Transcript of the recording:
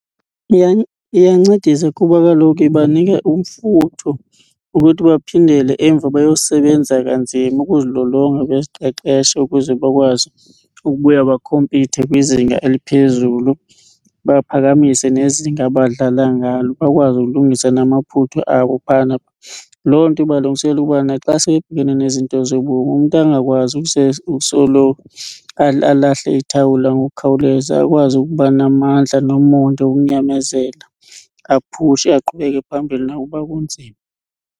Iyancedisa kuba kaloku ibanika umfutho ukuthi baphindele emva bayosebenza kanzima ukuzilolonga noziqeqesha ukuze bakwazi ukubuya bakhompithe kwizinga eliphezulu. Baphakamise nezinga abadlala ngalo bakwazi ukulungisa namaphutho abo phayana. Loo nto ibalungiselela ukuba naxa sele bebhekene nezinto zobomi umntu angakwazi ukusoloko alahle ithawula ngokukhawuleza akwazi ukuba namandla nomonde okunyamezela aphushe, aqhubeke phambili nokuba kunzima.